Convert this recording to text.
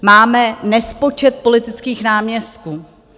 Máme nespočet politických náměstků.